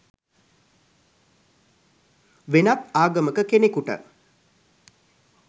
වෙනත් ආගමක කෙනෙකුට